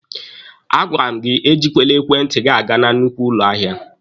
A gwara m gị ejikwele ekwentị gị aga na nnukwu ụlọ ahịa!